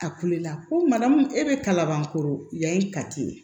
A kulela ko mana mun e bɛ kalabankoro yanni kati